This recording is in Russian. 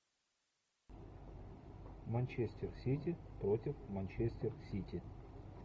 манчестер сити против манчестер сити